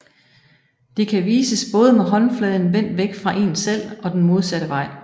Det kan vises både med håndfladen vendt væk fra én selv og den modsatte vej